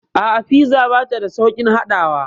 A'a, fiza bata da sauƙin haɗawa.